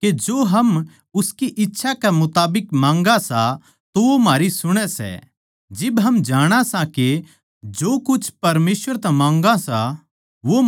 जिब हम जाणा सां के जो कुछ परमेसवर तै मांग्या सां वो म्हारी सुणै सै तो यो भी जाणा सां के जो कुछ हमनै परमेसवर तै मांग्या वो पाया सै